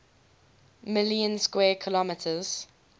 million square kilometers